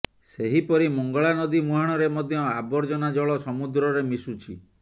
ସେହିପରି ମଙ୍ଗଳାନଦୀ ମୁହାଣରେ ମଧ୍ୟ ଆବର୍ଜନା ଜଳ ସମୁଦ୍ରରେ ମିଶୁଛି